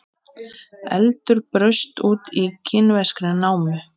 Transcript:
Eldur braust út í kínverskri námu